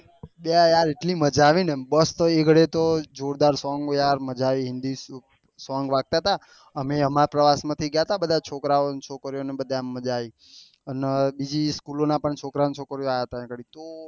બે યાર એટલી મજા આવી ને બસ તો એ ગાડી તો જોરદાર સોંગ યાર મજા આયી english હતા અમે અમારા પ્રવાસ માં થી ગયા હતા બધા છોકરા છોકરીયો ને બધા એમ મજા આયી અને બીજી સ્ચોલો ના પણ છોકરા ને છોકરીયો આયા હતા આયી આગળી